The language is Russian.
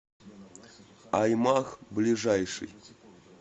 аймаг ближайший